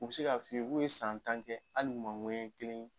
U be se ka fɔ i ye k'u ye san tan kɛ hali u ma ɲɔɲɛ kelen